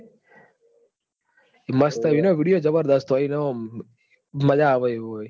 મસ્ત હી ના ઇન ઓંમ video જબ દસ હોયી ન મજા આવે આવું હોયન